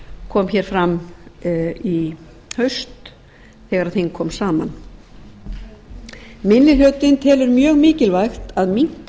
kom hér fram í haust þegar þing kom saman minni hlutinn telur mjög mikilvægt að minnka